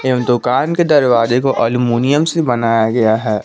दुकान के दरवाजे को अल्मुनियम से बनाया गया है।